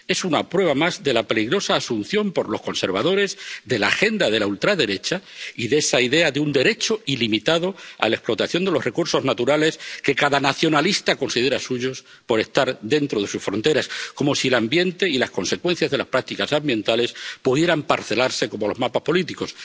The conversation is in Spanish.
Es una prueba más de la peligrosa asunción por los conservadores de la agenda de la ultraderecha y de esa idea de un derecho ilimitado a la explotación de los recursos naturales, que cada nacionalista considera suyos por estar dentro de sus fronteras, como si el ambiente y las consecuencias de las prácticas ambientales pudieran parcelarse como los mapas políticos.